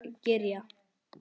Slök í teignum hrífan kyrjar.